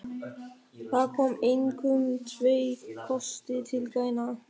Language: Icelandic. Þar koma einkum tveir kostir til greina.